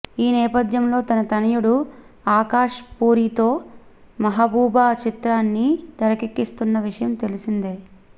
ఈ నేపథ్యంలో తన తనయుడు ఆకాష్ పూరితో మెహబూబా చిత్రాన్ని తెరకెక్కిస్తున్న విషయం తెలిసిందే